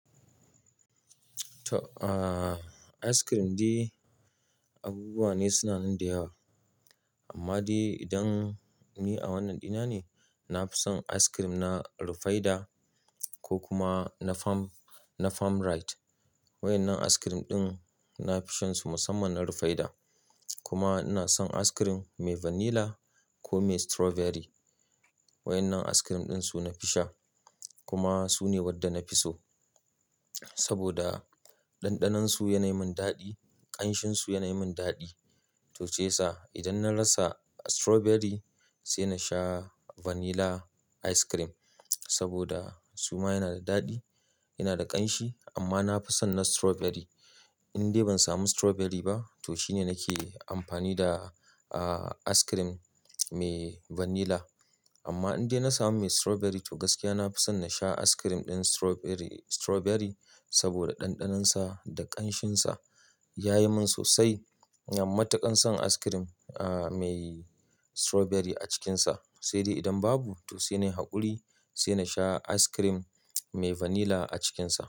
To, ahh ice cream dai abubuwa ne suna nan da yawa. Amma dai idan ni a wannan dina ne, na fi son ice cream na Rufaidah ko kuma na Farm-- na Farm Right. Waɗannan ice cream ɗin na fi shansu musamman na Rufaidah. Kuma ina son ice cream mai Vanilla ko mai Strawberry. Waɗannan ice cream ɗin su na fi sha. Kuma su ne waɗanda na fi so. Saboda ɗanɗanon su yana yi min daɗi, ƙanshin su yana yi min daɗi. To shiya sa idan na rasa Strawberry, sai na sha Vanilla ice cream. Saboda suma yana da daɗi, yana da ƙanshi amma na fi son na Strawberry. In dai ban samu Strawberry ba, to shine nake amfani da ahh ice cream mai Vanilla. Amma in dai na samu mai Strawberry to gaskiya na fi son na sha ice cream ɗin Strawberry, Strawberry saboda ɗanɗanonsa da ƙanshinsa. Ya yi min sosai matuƙan son ice cream ahh mai Strawberry a cikinsa. Sai dai idan babu, to sai nai hakuri sai na sha ice cream mai Vanilla a cikinsa.